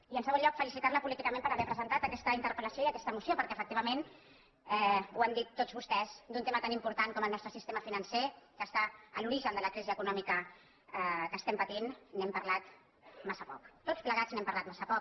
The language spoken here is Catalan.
i en segon lloc felicitar·la políticament per haver pre·sentat aquesta interpel·lació i aquesta moció perquè efectivament ho han dit tots vostès d’un tema tan important com el nostre sistema financer que està a l’origen de la crisi econòmica que estem patint n’hem parlat massa poc tots plegats n’hem parlat massa poc